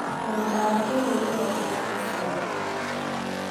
Mũgũnda wa kĩrĩu ũrongerera maciaro.